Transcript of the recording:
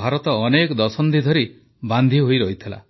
ଭାରତ ଅନେକ ଦଶନ୍ଧି ଧରି ବାନ୍ଧି ହୋଇରହିଥିଲା